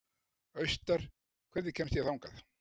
Austar, hvernig kemst ég þangað?